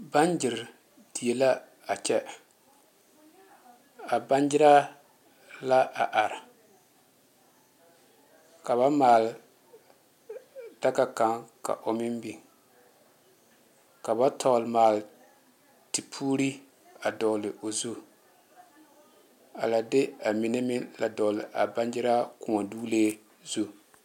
Bamnyere die la a kyɛ a bannyaraa la a are ka ba maale daga kaŋ a o meŋ biŋ ka ba tɔgle maali tepuuri a dogle o zu a lɛ de a mine meŋ dogle a bannyaraa kõɔ doglee zu.